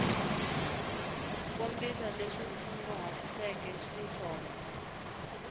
kombisa leswi u kunguhatiseke xiswona